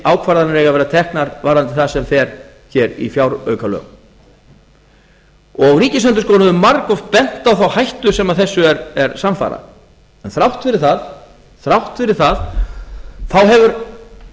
ákvarðanir eiga að vera teknar varðandi það sem fer hér í fjáraukalög ríkisendurskoðun hefur margoft bent á þá hættu sem þessu er samfara en þrátt fyrir það hefur